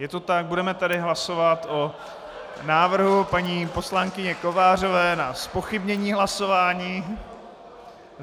Je to tak, budeme tedy hlasovat o návrhu paní poslankyně Kovářové na zpochybnění hlasování.